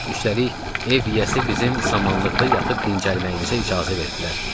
Üstəlik ev yiyəsi bizim samanlıqda yatıb dincəlməyimizə icazə verdilər.